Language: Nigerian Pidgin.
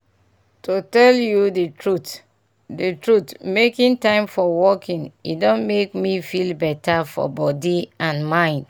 to tell you the truth the truth making time for walking e don make me feel better for body and mind.